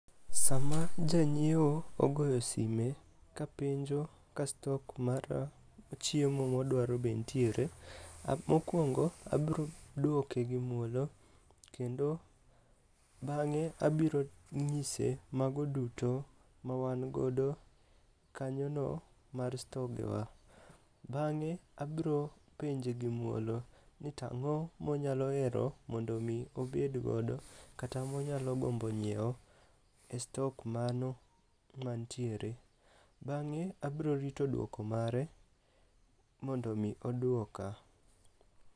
Sama janyieo ogoyo sime ka penjo ka stok mar chiemo modwaro be ntiere, mokwongo abro duoke gi muolo kendo bang'e abiro ng'ise mago duto mawangodo kanyono mar stogewa. Bang'e abro penje gi muolo ni tang'o monyalo hero mondo omi obedgodo kata monyalo gombo nyieo e stok mano mantiere. Bang'e abrorito dwoko mare mondo omi odwoka.